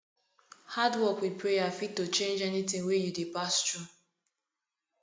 hardwork with prayer fit to change anything wey you dey pass through